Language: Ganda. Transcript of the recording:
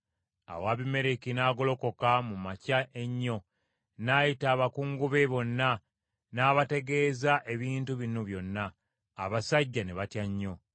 Awo Abimereki n’agolokoka mu makya ennyo n’ayita abakungu be bonna n’abategeeza ebintu bino byonna; abasajja ne batya nnyo.